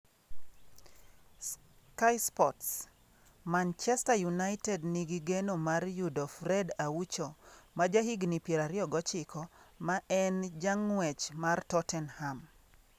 (Sky Sports) Manchester United nigi geno mar yudo Fred Aucho, majahigini 29, ma en jang'wech mar Tottenham.